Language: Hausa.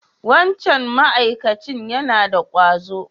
Wancan ma'akacin yana da ƙwazo?